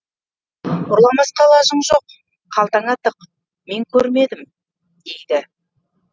ұрламасқа лажың жоқ қалтаңа тық мен көрмедім дейді